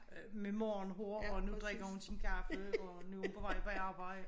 Øh med morgenhår og nu drikker hun sin kaffe og nu er hun på vej på arbejde